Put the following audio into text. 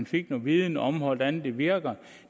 fik en viden om hvordan det virkede